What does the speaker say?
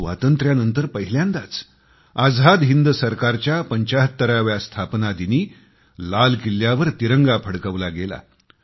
स्वातंत्र्यानंतर पहिल्यांदाच आझाद हिंद सरकारच्या 75व्या स्थापना दिवशी लाल किल्ल्यावर तिरंगा फडकवला गेला